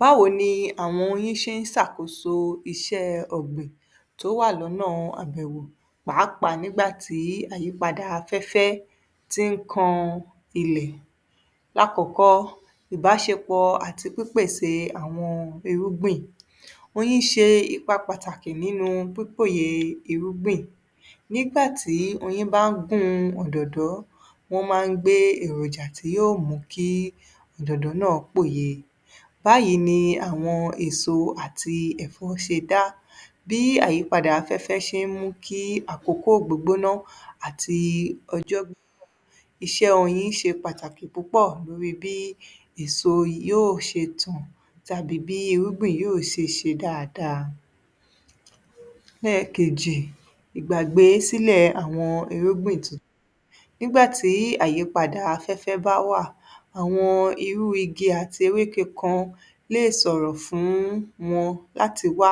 Báwo ni àwọn oyin ṣe ń ṣàkóso iṣẹ́ ọ̀gbìn tó wà lọ́nà àbẹ̀wò, pàápàá nígbà tí àyípadà afẹ́fẹ́ tí ń kan ilẹ̀. Lákọ̀ọ́kọ́, ìbáṣepọ̀ àti pípèsè àwọn irúgbìn. Oyin ṣe ìpa pàtàkì nínú pípòyè irúgbìn. Nígbà tí oyin bá gun òdòdó, wọ́n máa ń gbé èròjà tí yóò mú kí òdòdó náà pòye. Báyìí ni àwọn èso àti ẹ̀fọ́ ṣe dá. Bí àyípadà afẹ́fẹ́ ṣe ń mú kí àkókò gbógbóná àti ọjọ́. Iṣẹ́ oyin ṣe pàtàkì púpọ̀ lórí bí èso yóò ṣe tàn tàbí bí irúgbìn yóò ṣe ṣe dáadáa. Lẹ́ẹ̀kejì, ìgbàgbésílẹ̀ àwọn irúgbìn tu. Nígbà tí àyípadà afẹ́fẹ́ bá wà, àwọn irú igi àti ewé kekan lè sọ̀rọ̀ fún wọn láti wá,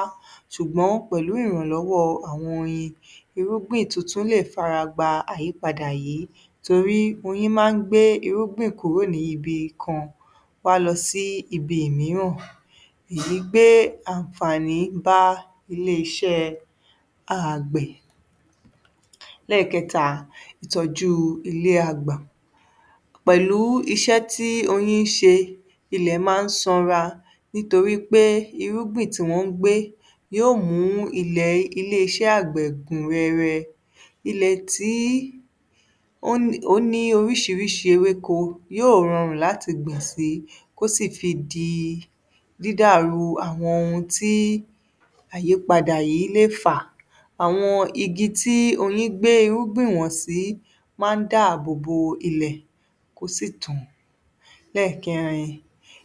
ṣùgbọ́n pẹ̀lú ìrànlọ́wọ́ àwọn oyin, irúgbìn tuntun lè fara gba àyípadà yìí torí oyin máa ń gbé irúgbìn kúrò ní ibi kan wá lọ sí ibi ìmìíràn. Èyí gbé ànfààni bá ilé iṣẹ́ àgbẹ̀. Lẹ́ẹ̀kẹta, ìtọ́jú ilé agbà. Pẹ̀lú iṣẹ́ tí oyin ń ṣe, ilẹ̀ máa ń sanra nítorí pé irúgbìn tí wọ́n ń gbé yóò mú ilẹ̀, ilé-iṣẹ́ àgbẹ̀ gùn rẹrẹ. Ilẹ̀ tí ó ní oríṣiríṣi ewéko yóò rọrùn láti gbìn síi, kó sì fi di dídàrú àwọn ohun tí àyípadà yìí lè fà. Àwọn igi tí oyin gbé irúgbìn wọ̀n sí máa ń dáàbò bo ilẹ̀, kó sì tàn. Lẹ́ẹ̀kẹrin,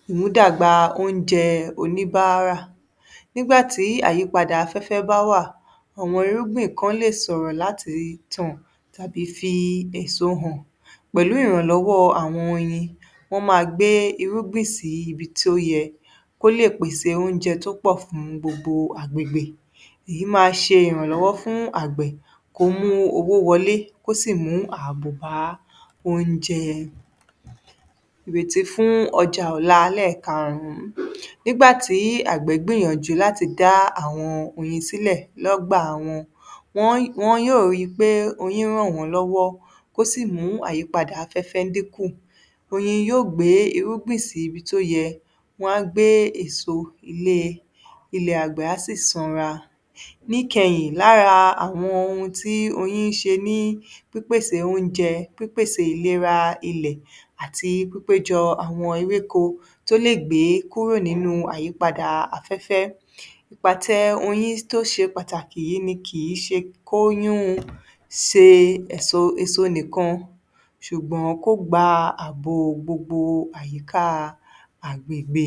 ìmúdàgbà oúnjẹ oníbáárà. Nígbà tí àyípadà afẹ́fẹ́ bá wà, ọmọ irúgbìn kan lè sọ̀rọ̀ láti tàn tàbí fi èso hàn pẹ̀lú ìrànlọ́wọ́ àwọn oyin, wọ́n máa gbé irúgbìn si ibi tí ó yẹ kó lè pèsè oúnjẹ tó pọ̀ fún gbogbo agbègbè. Èyí máa ṣe ìrànlọ́wọ́ fún àgbẹ̀ kó mú owó wọlé, kó sì mú ààbò bà oúnjẹ. Ìrètí fún ọjà ọ̀la, ẹlẹ́ẹ̀karùn-ún. Nígbà tí àgbẹ̀ gbìyànjú láti dá àwọn oyin sílẹ̀ lọ́gbà wọn, wọn yóò ríi pé oyin ràn wọ́n lọ́wọ́ ó sì mú àyípadà afẹ́fẹ́ dínkù. Oyin yóò gbé irúgbìn sí ibi tó yẹ. Wọ́n á gbé èso ilé, ilẹ̀ àgbẹ̀ á ssì sanra. Níkẹyìn, lára àwọn ohun tí oyin ń ṣe ní pípèsè oúnjẹ, pípèsè ìlera ilẹ̀ àti pípéjọ àwọn ewéko tó lè gbé kúrò ní àyípadà afẹ́fẹ́. Ìpàtẹ oyin tó ṣe pàtàkì yìí ni kìí ṣe kó yún un ṣe ẹ̀so, èso nìkan ṣùgbọ́n kó gba ààbò gbogbo àyíká àgbègbè.